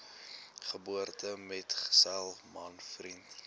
geboortemetgesel man vriend